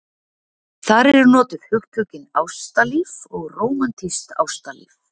þar eru notuð hugtökin ástalíf og rómantískt ástalíf